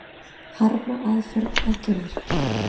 Harma aðför að Geir